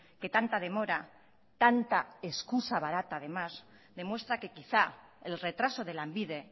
que tanta demora tanta excusa barata además demuestra que quizá el retraso de lanbide